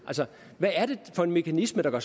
hvad er det for en mekanisme der